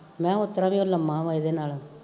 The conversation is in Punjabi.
ਮਹਾਂ ਓਤਰਾਂ ਵੀ ਓ ਲੰਮਾ ਵਾ ਏਦੇ ਨਾਲੋਂ